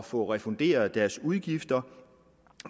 få refunderet deres udgifter